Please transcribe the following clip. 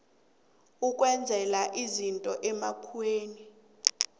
ukwenzela izinto emkhanyweni